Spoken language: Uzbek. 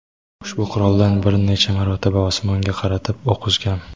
ushbu quroldan bir necha marotaba osmonga qaratib o‘q uzgan.